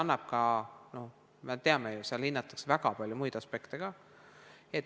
Sellepärast, et nagu me teame, seal hinnatakse ka väga palju muid aspekte.